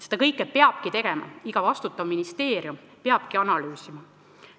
Seda kõike peabki tegema, iga vastutav ministeerium peabki analüüsima.